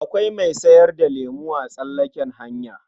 Akwai mai sayar da lemo a tsallaken hanya.